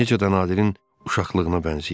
Necə də Nadirin uşaqlığına bənzəyirdi.